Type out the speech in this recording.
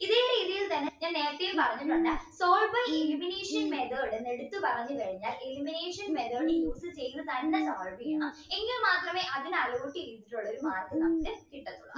ഇതേ രീതിയിൽ തന്നെ ഞാൻ നേരത്തെയും പറഞ്ഞ്ട്ടുണ്ട് solve by elimination method എന്ന് എടുത്ത് പറഞ്ഞ് കഴിഞ്ഞാൽ elimination method use ചെയ്‌ത്‌ തന്നെ solve ചെയ്യണം എങ്കിൽ മാത്രമേ അതിനെ allot ചെയ്തിട്ടുള്ള ഒരു mark നമുക്ക് കിട്ടത്തുള്ളു